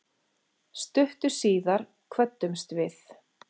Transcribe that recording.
Stuttu síðar kvöddumst við.